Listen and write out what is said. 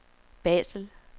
Basel